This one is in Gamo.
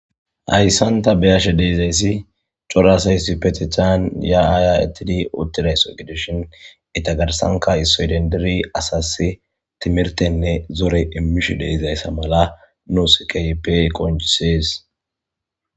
Ayssanta beyashe deizayssi coraasaysi petethaan ya aaya ittidi uttidayso gidishin eta garsanka issoedendiri asas timirtenne zore immish deizayssa mala nu sikaype qonjisees.